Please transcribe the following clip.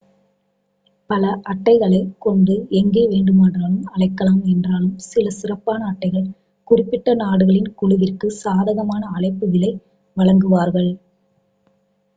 பல அட்டைகளைக் கொண்டு எங்கே வேண்டுமென்றாலும் அழைக்கலாம் என்றாலும் சில சிறப்பான அட்டைகள் குறிப்பிட்ட நாடுகளின் குழுவிற்கு சாதகமான அழைப்பு விலை வழங்குவார்கள்